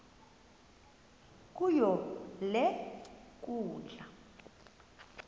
kuyo le nkundla